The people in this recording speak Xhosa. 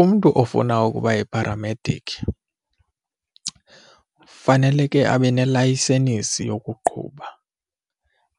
Umntu ofuna ukuba yipharamediki faneleke abe nelayisenisi yokuqhuba.